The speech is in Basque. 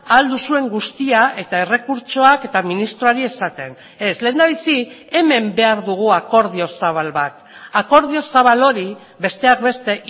ahal duzuen guztia eta errekurtsoak eta ministroari esaten ez lehendabizi hemen behar dugu akordio zabal bat akordio zabal hori besteak beste